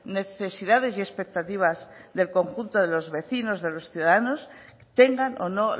necesidades y expectativas del conjunto de los vecinos de los ciudadanos tengan o no